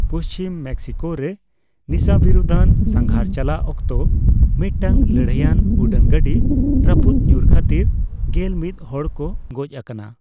ᱯᱩᱪᱷᱤᱢ ᱢᱮᱠᱥᱤᱠᱳᱨᱮ ᱱᱤᱥᱟᱹᱵᱤᱨᱩᱫᱟᱱ ᱥᱟᱸᱜᱷᱟᱨ ᱪᱟᱞᱟᱜ ᱚᱠᱛᱚ ᱢᱤᱫᱴᱟᱝ ᱞᱟᱹᱲᱦᱟᱹᱭᱟᱱ ᱩᱰᱟᱹᱱ ᱜᱟᱰᱤ ᱨᱟᱯᱩᱫ ᱧᱩᱨ ᱠᱷᱟᱛᱤᱨ ᱜᱮᱞ ᱢᱤᱛ ᱦᱚᱲ ᱠᱚ ᱜᱚᱡ ᱟᱠᱟᱱᱟ ᱾